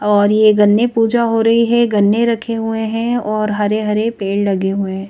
और ये गन्ने पूजा हो रही है गन्ने रखे हुए हैं और हरे-हरे पेड़ लगे हुए हैं।